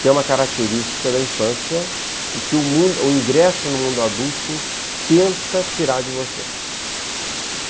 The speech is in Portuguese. que é uma característica da infância e que o ingresso no mundo adulto tenta tirar de você.